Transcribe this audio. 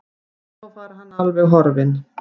Svo var hann alveg horfinn.